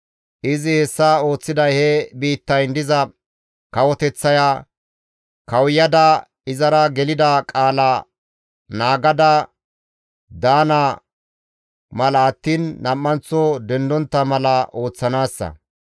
Izi hessa ooththiday he biittayn diza kawoteththaya kawuyada izara gelida qaala naagada daana mala attiin nam7anththo dendontta mala ooththanaassa.